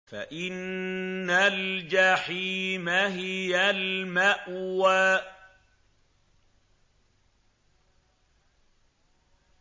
فَإِنَّ الْجَحِيمَ هِيَ الْمَأْوَىٰ